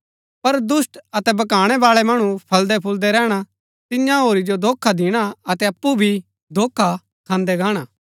पर दुष्‍ट अतै भकाणै बाळै मणु फलदैफूलदै रैहणा तिन्या होरी जो धोखा दिणा अतै अप्पु भी धोखा खान्दै गाणा